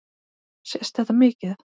Sést þetta mikið?